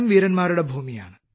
വീരന്മാരുടെ ഭൂമിയാണ്